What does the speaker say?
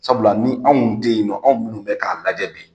Sabula ni anw tɛ yen nɔ, anw minnu bɛ k'a lajɛ bi,